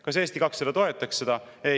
Kas Eesti 200 toetaks seda?